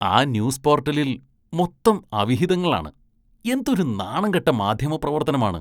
ആ ന്യൂസ് പോര്‍ട്ടലില്‍ മൊത്തം അവിഹിതങ്ങളാണ്, എന്തൊരു നാണംകെട്ട മാധ്യമപ്രവര്‍ത്തനമാണ്.